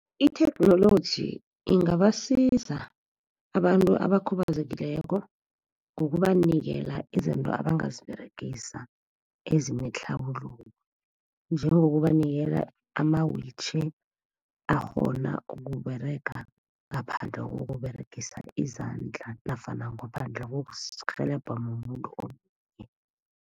Itheknoloji ingabasiza abantu abakhubazekileko, ngokubanikela izinto abangaziberegisa, ezinetlharuluko. Njengokubanikela ama-wheelchair akghona ukUberega ngaphandle ngokUberegisa izandla, nofana ngaphandle kokurhelebhwa mumuntu omunye